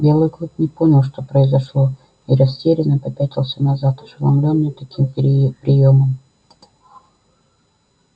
белый клык не понял что произошло и растерянно попятился назад ошеломлённый таким приёмом